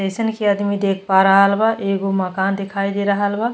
जइसन के अदमी देख पा रहल बा एगो मकान देखाई दे रहल बा।